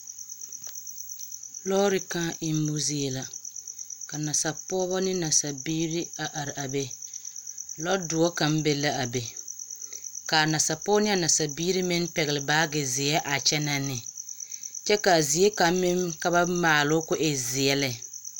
Lɔɔre kᾱᾱ emmo zie la ka nasaa pɔgebɔ ne nasaa biiri a araa be. Lɔɔ doɔ kaŋ be laa be. Kaa nasaa pɔgebɔ ne a nasaa biiri meŋ pɛgele baaage zeɛ a kyenɛ ne, kyɛ ka a zie kaŋ meŋ ka ba maaloo koo e zeɛ lɛ.